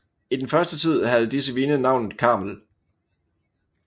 I den første tid havde disse vine navnet Carmel